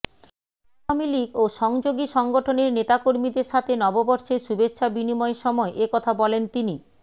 আওয়ামী লীগ ও সহযোগী সংগঠনের নেতাকর্মীদের সাথে নববর্ষের শুভেচ্ছা বিনিময়ের সময় এ কথা বলেন তিনি